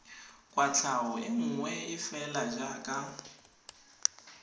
kwatlhao e nngwe fela jaaka